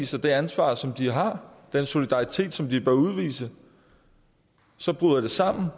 sig det ansvar som de har den solidaritet som de bør udvise og så bryder det sammen